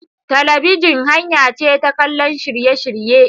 Talabijin hanya ce ta kallon shirye-shirye.